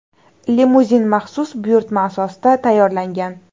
Limuzin maxsus buyurtma asosida tayyorlangan.